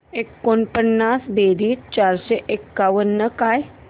एकोणपन्नास बेरीज चारशे एकावन्न काय